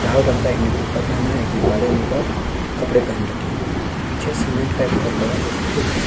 लाल का एक ने कुर्ता पहना है एक ने काले रंग का कपड़ा पहन रखे है पीछे सीमेंट का एक बहुत बड़ा पूल है।